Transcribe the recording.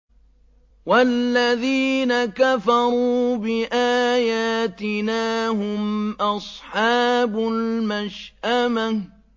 وَالَّذِينَ كَفَرُوا بِآيَاتِنَا هُمْ أَصْحَابُ الْمَشْأَمَةِ